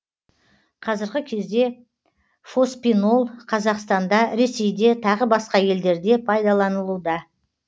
қазіргі кезде фоспинол қазақстанда ресейде тағы басқа елдерде пайдаланылуда